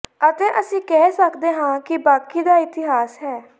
ਅਤੇ ਅਸੀਂ ਕਹਿ ਸਕਦੇ ਹਾਂ ਕਿ ਬਾਕੀ ਦਾ ਇਤਿਹਾਸ ਹੈ